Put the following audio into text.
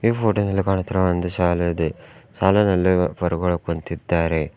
Photo ದಲ್ಲಿ ಕಾಣುತ್ತಿರುವಂತೆ ಒಂದು ಶಾಲೆ ಇದೆ ಶಾಲೆಯಲ್ಲಿ ಗುರುಗಳು ಕುಂತಿದ್ದಾರೆ.